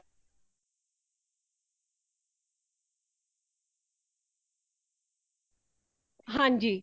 ਹਾਂਜੀ